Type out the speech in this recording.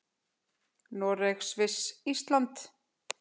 Noreg, Sviss og Ísland.